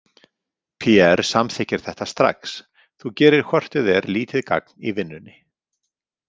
Pierre samþykkir þetta strax, þú gerir hvort eð er lítið gagn í vinnunni.